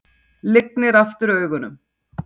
Lygnir aftur augunum.